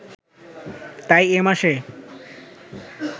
তাই এ মাসে